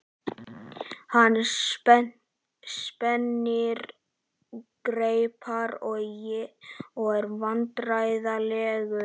Hann spennir greipar og er vandræðalegur.